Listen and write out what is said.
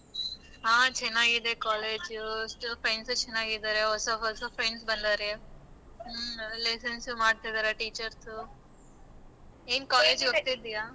ಹ ಚೆನ್ನಾಗಿದೆ college friends ಚೆನ್ನಾಗಿದಾರೆ ಹೊಸ ಹೊಸ friends ಬಂದಾರೆ ಹ್ಮ lessons ಉ ಮಾಡ್ತಿದಾರೆ teachers ನಿನ್ college ಹೋಗತಿದಯಾ?